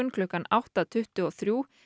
klukkan átta tuttugu og þrjú